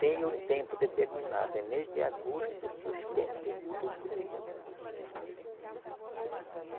Tem o tempo determinado, é mês de agosto suspender tudo com